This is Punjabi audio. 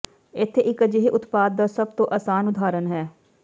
ਇੱਥੇ ਇੱਕ ਅਜਿਹੇ ਉਤਪਾਦ ਦਾ ਸਭ ਤੋਂ ਆਸਾਨ ਉਦਾਹਰਨ ਹੈ